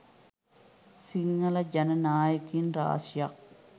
සිංහල ජන නායකයින් රාශියක්